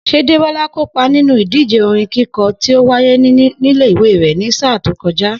S̩é Débó̩lá kópa nínú ìdíje orin kíko̩ tí ó wáyé nílé ìwé rè̩ ní sáà tó ko̩já?